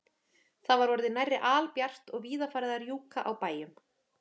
Það var orðið nærri albjart og víða farið að rjúka á bæjum.